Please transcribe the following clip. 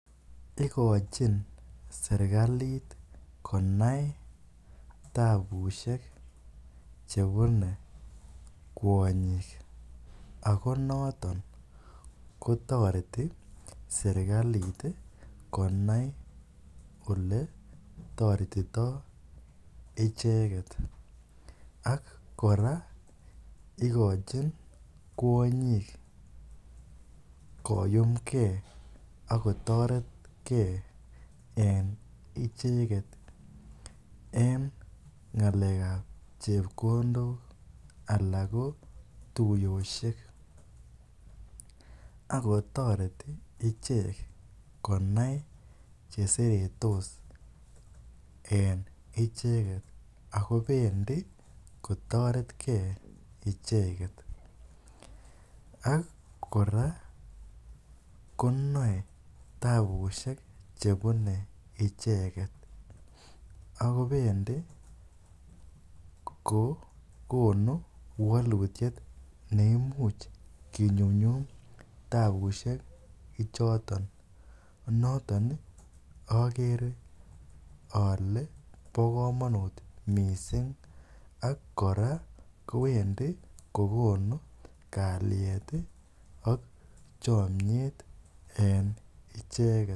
Ikochin serkalit konai tabusiek chebune kwonyik, akonoton kotoreti serkalit konai kole oletoretito icheget, ak kora igochin koyumgee ak kotoretgee en icheget en ng'alekab chepkondok ana ko tuyosiek, ak kotoreti icheg konai cheseretos en icheget ako bendi kotoretgee icheget, ak kora konoe tabusiek chemune icheget ako bendi kogonu walutiet neimuch kinyumyum tabusiek ichoton, noton ogere ole bo komonut missing ak kora kowendi kogonu kalyet ak chomyet en icheget.